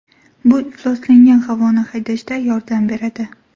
Bu ifloslangan havoni haydashda yordam beradi.